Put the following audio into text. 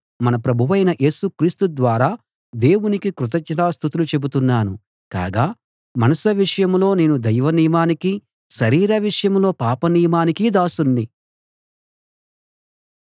మన ప్రభు యేసు క్రీస్తు ద్వారా దేవునికి కృతజ్ఞతా స్తుతులు చెబుతున్నాను కాగా మనసు విషయంలో నేను దైవనియమానికీ శరీర విషయంలో పాప నియమానికీ దాసుణ్ణి